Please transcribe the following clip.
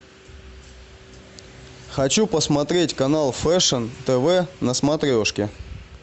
хочу посмотреть канал фэшн тв на смотрешке